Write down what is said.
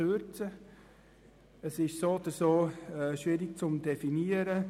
So oder so ist das schwierig zu definieren.